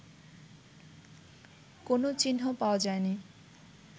কোন চিহ্ন পাওয়া যায়নি